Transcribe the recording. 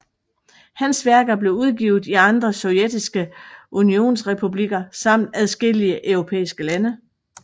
Hans værker blev udgivet i andre sovjetiske unionsrepublikker samt adskillige europæiske lande